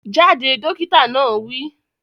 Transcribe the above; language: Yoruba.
Jáde! Dókítà náà wi